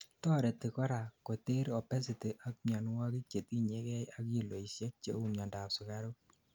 toreti korak koter obesity ak mianwogik chetinyegei ak kiloisiek cheu miandap sugaruk